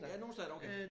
Ja nogen stater okay